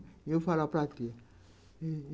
E eu falava para tia.